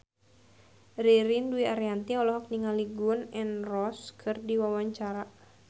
Ririn Dwi Ariyanti olohok ningali Gun N Roses keur diwawancara